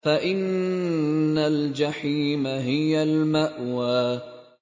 فَإِنَّ الْجَحِيمَ هِيَ الْمَأْوَىٰ